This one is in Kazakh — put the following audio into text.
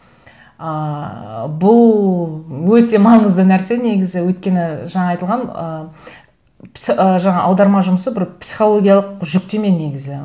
ыыы бұл өте маңызды нәрсе негізі өйткені жаңа айтылған ы ы жаңа аударма жұмысы бір психологиялық жүктеме негізі